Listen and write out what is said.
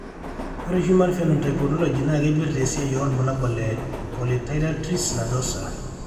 Ore Human Phenotype Ontology naa keipirta esiana orbulabol le polyarteritis nadosa.